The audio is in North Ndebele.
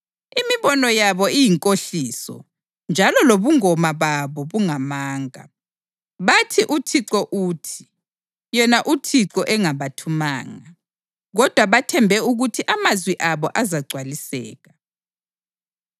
Imibono yabo iyinkohliso njalo lobungoma babo bungamanga. Bathi, “ uThixo uthi,” yena uThixo engabathumanga; kodwa bathembe ukuthi amazwi abo azagcwaliseka.